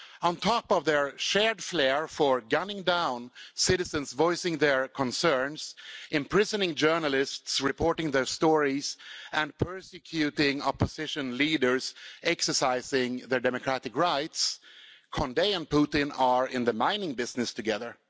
On top of their shared flair for gunning down citizens voicing their concerns, imprisoning journalists reporting their stories, and persecuting opposition leaders exercising their democratic rights, Condé and Putin are in the mining business together.